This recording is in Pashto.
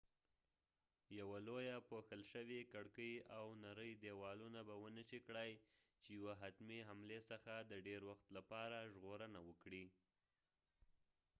یوه لويه پوښل شوي کړکې او نری ديوالونه به ونشي کړای چې یوه حتمی حملی څخه د ډیر وخت لپاره ژغورنه وکړي